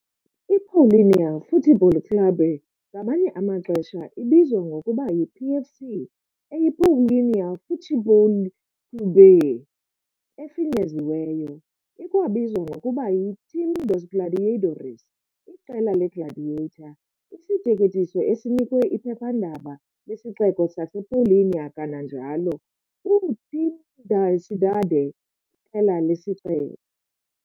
I-Paulínia Futebol Clube ngamanye amaxesha ibizwa ngokuba yi-PFC, eyi "Paulínia Futebol Clube" efinyeziweyo. Ikwabizwa ngokuba yi "Time dos Gladiadores", Iqela leGladiator, isiteketiso esinikwe iphephandaba lesixeko sasePaulínia, kananjalo "o Time da cidade", iqela lesixeko.